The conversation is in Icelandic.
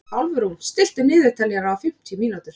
Álfrún, stilltu niðurteljara á fimmtíu mínútur.